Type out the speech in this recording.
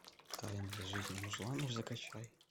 тайная жизнь мужланов закачай